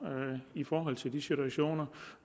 i forhold til de situationer